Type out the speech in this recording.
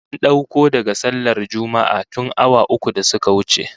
An dauko daga sallar Juma'ah tun awa uku da suka wuce